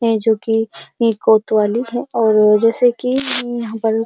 है जोकि ये कोतवाली है और जैसे कि यहाँ पर --